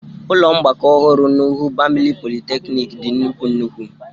Ụlọ mgbakọ ọhụrụ nuhu bamali polychnic dị nnukwu nnukwu.